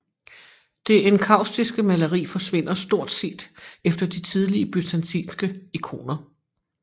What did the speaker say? Det enkaustiske maleri forsvinder stort set efter de tidlige byzantinske ikoner